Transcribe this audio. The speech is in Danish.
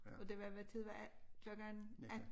Og det var hvad tid var klokken 18?